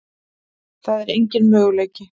Það er engin möguleiki.